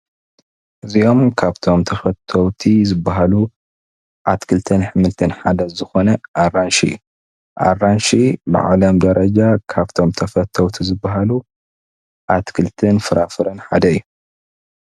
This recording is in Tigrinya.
እዚኦም ካብቶም ተፈተውቲ ዝበሃሉ ኣትክልትን ኣሕምልትን ሓደ ዝኾነ ኣራንሺ እዩ። ኣራንሺ ብዓለም ደረጃ ካብቶም ተፈተውቲ ዝበሃሉ ኣትክልትን ፍራፍረን ሓደ እዩ።